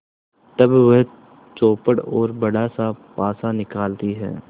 तब वह चौपड़ और बड़ासा पासा निकालती है